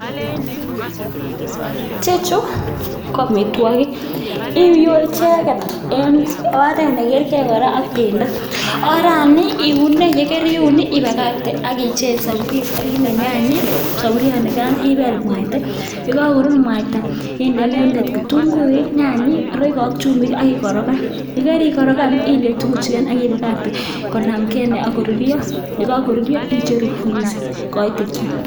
Ichechu ko amitwokik iyoe icheket en oret nekerke kora ak bendo, orani iune yekeriun ibakakte ak ichek soburiet ak kinde nyanyik soburionikan ibeel mwaita, yeko koruru mwaita inde inendet kitunguik, nyanyik, roiko ak chumbik ak ikorokan, yekarikorokan inde tukuchukan ak ibakakte konamken ak korurio, yekokorurio icheru ak koite kiam.